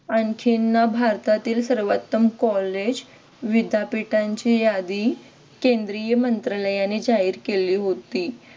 आणखीन ना भारतातील सर्वोत्तम कॉलेज विद्यापीठांची यादी केंद्रीय मंत्रालयाने जाहीर केली होती.